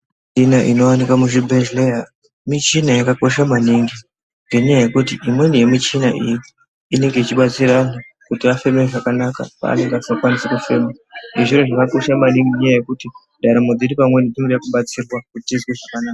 Muchina inowanikwa muzvibhehlera muchina yakakosha maningi ngenyaya yekuti imweni yemuchina iyi inenge ichibatsira kuti afeme zvakanaka panenge asinga kwanisi kufema zvoro zvakakosha maningi mundaramo dzedu pamweni dzinoda kubatsirwa kuti tizwe zvakanaka.